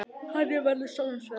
Þannig verður sólin svört.